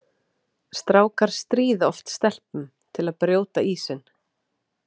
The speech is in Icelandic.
Strákar stríða oft stelpum til að brjóta ísinn.